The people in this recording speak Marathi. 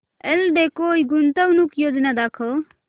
एल्डेको गुंतवणूक योजना दाखव